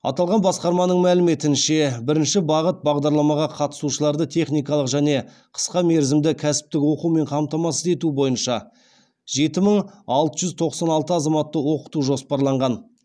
аталған басқарманың мәліметінше бірінші бағыт бағдарламаға қатысушыларды техникалық және қысқа мерзімді кәсіптік оқумен қамтамасыз ету бойынша жеті мың алты жүз тоқсан алты азаматты оқыту жоспарланған